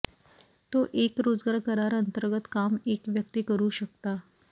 तो एक रोजगार करार अंतर्गत काम एक व्यक्ती करू शकता